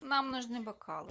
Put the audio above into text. нам нужны бокалы